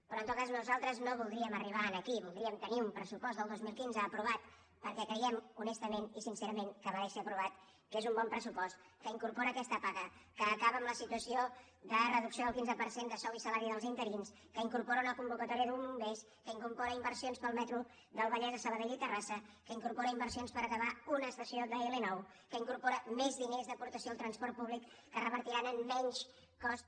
però en tot cas nosaltres no voldríem arribar aquí voldríem tenir un pressupost del dos mil quinze aprovat perquè creiem honestament i sincerament que mereix ser aprovat que és un bon pressupost que incorpora aquesta paga que acaba amb la situació de reducció del quinze per cent de sou i salari dels interins que incorpora una convocatòria de bombers que incorpora inversions per al metro del vallès a sabadell i terrassa que incorpora inversions per acabar una estació d’l9 que incorpora més diners d’aportació al transport públic que revertiran en menys cost